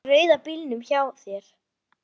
Í rauða bílnum hjá þér.